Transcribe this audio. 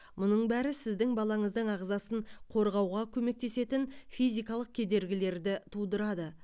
мұның бәрі сіздің балаңыздың ағзасын қорғауға көмектесетін физикалық кедергілерді тудырады